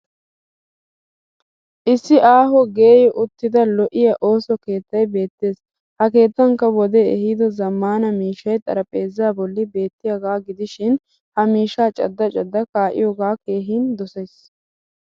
Issi aaho geeyyi uttida lo'iyaa ooso keettay beettes. Ha keettankka wodee ehido zammaana miishshay xaraphpheezzaa bolli beettiyaagaa gidishin ha mishshaa cadda cadda kaa'iyoogaa keehin dosayis.